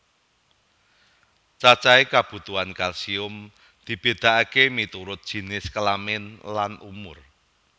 Cacahé kabutuhan kalsium dibedakaké miturut jinis kelamin lan umur